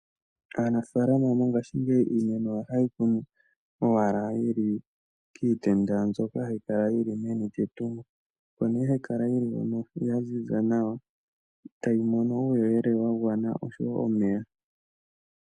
Aanafalama mongashingeyi iimeno yawo ohaye yi kunu owala yi li kiitenda mbyoka hayi kala yi li meni lyetungo. Oko nee hayi kala hoka ya ziza nawa tayi mono uuyelele wa gwana osho wo omeya.